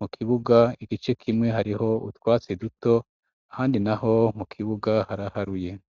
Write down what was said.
Mu kibuga igice kimwe hariho utwatsi duto, abandi naho mu kibuga, haraharuye.